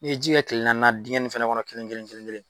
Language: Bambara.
N'i ye ji kɛ kile naaninan dingɛ nun fana kɔnɔ kelen kelen kelen kelen